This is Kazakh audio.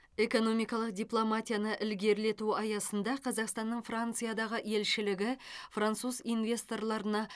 экономикалық дипломатияны ілгерілету аясында қазақстанның франциядағы елшілігі француз инвесторларына